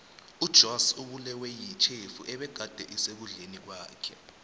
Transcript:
ujoss ubulewe yitjhefu ebegade isekudleni kwakhe